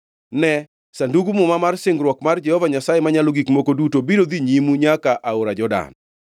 Ne, Sandug Muma mar singruok mar Jehova Nyasaye Manyalo Gik Moko Duto biro dhi nyimu nyaka aora Jordan.